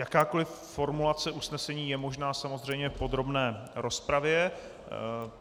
Jakákoli formulace usnesení je možná samozřejmě v podrobné rozpravě.